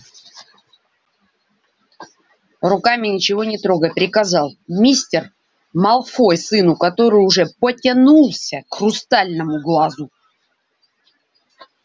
руками ничего не трогай приказал мистер малфой сыну который уже потянулся к хрустальному глазу